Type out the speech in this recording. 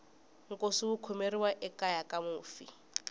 nkosi wu khomeriwa ekeya ka mufi